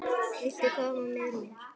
Viltu koma með mér?